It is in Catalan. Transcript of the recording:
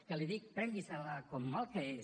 que l’hi dic prengui se la com el que és